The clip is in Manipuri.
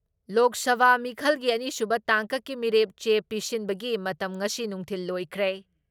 ꯂꯣꯛ ꯁꯚꯥ ꯃꯤꯈꯜꯒꯤ ꯑꯅꯤꯁꯨꯕ ꯇꯥꯡꯀꯛꯀꯤ ꯃꯤꯔꯦꯞ ꯆꯦ ꯄꯤꯁꯤꯟꯕꯒꯤ ꯃꯇꯝ ꯉꯁꯤ ꯅꯨꯡꯊꯤꯜ ꯂꯣꯏꯈ꯭ꯔꯦ ꯫